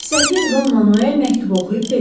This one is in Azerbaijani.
Səfir Don Manuel məktubu oxuyub dedi: